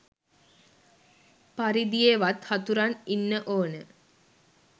පරිදියෙවත් හතුරන් ඉන්න ඕන